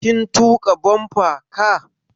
Kin tuƙa bumper car?